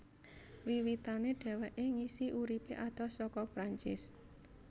Wiwitané dheweké ngisi uripé adoh saka Perancis